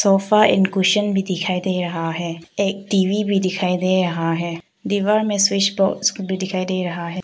तोफा and cushion भी दिखाई दे रहा है एक टी_वी भी दिखाई दे रहा है दीवार में स्विच बोर्ड भी दिखाई दे रहा है।